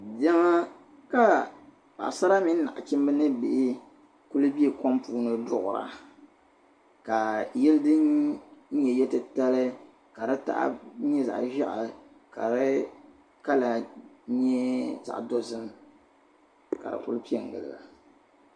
Yiŋ ka paɣasara mini nachimba ni bihi n-kuli be kom puuni duɣira ka yili din nye yilli titali ka di taɣi bu nya zaɣ'ʒeɣu ka di colour nyɛ zaɣ'dozim ka ku pe gili ba.